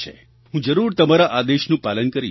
હું જરૂર તમારા આદેશનું પાલન કરીશ